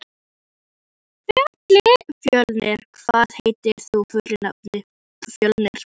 Fjölnir, hvað heitir þú fullu nafni?